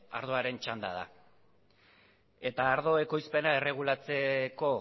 ardoaren txanda da eta ardo ekoizpena erregulatzeko